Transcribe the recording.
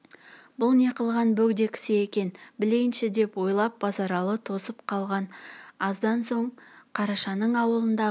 бұл не қылған бөгде кісі екен білейінші деп ойлап базаралы тосып қалған аздан соң қарашаның аулындағы